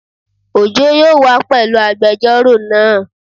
Ojo yóò wá pẹ̀lú agbẹjọ́rò naa